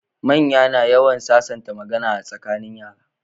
Manya na yawan sasanta magana tsakanin yara